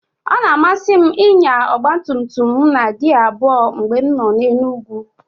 Ọ na-amasị m ịnya ọgba tum tum m na gia abụọ mgbe m nọ n'elu ugwu